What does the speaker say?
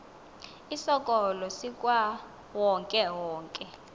isikolo sikawonke wonke